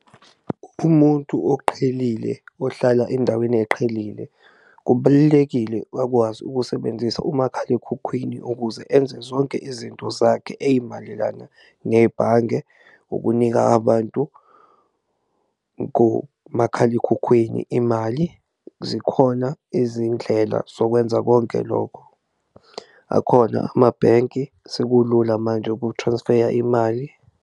Umuntu oqhelile ohlala endaweni eqhelile kubalulekile akwazi ukusebenzisa umakhalekhukhwini ukuze enze zonke izinto zakhe ey'malelana nebhange ukunika abantu kumakhalekhukhwini imali, zikhona izindlela zokwenza konke lokho, akhona amabhenki sekulula manje uku-transfer-ya imali.